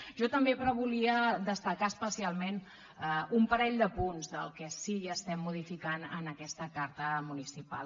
jo també però volia destacar especialment un parell de punts del que sí que modifiquem en aquesta carta municipal